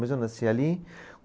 Mas eu nasci ali.